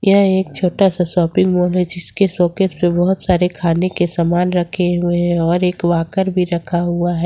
यह एक छोटा सा शॉपिंग मॉल है जिसके सॉकेट से बहुत सारे खाने के सामान रखे हुए हैं और एक वकार भी रखा हुआ है।